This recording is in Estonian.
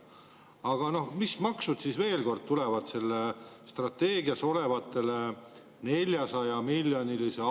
Aga mis maksud selle strateegias oleva 400-miljonilise augu täitmiseks siis veel tulevad?